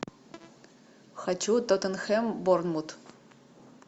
хочу тоттенхэм борнмут